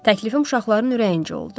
Təklifim uşaqların ürəyincə oldu.